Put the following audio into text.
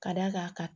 Ka d'a kan